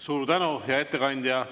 Suur tänu, hea ettekandja!